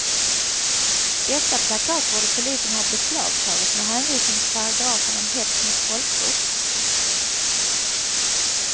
Dessa plakat borde polisen ha beslagtagit med hänvisning till paragrafen om hets mot folkgrupp.